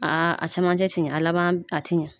Aa a cɛmancɛ tɛ ɲɛ a laban a tɛ ɲɛ